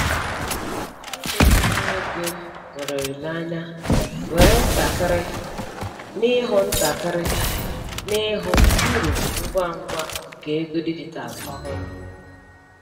Ndị na-etinye ego nwere olileanya were ntakịrị n'ịhụ ntakịrị n'ịhụ uru ngwa ngwa nke ego dijitalụ ọhụrụ.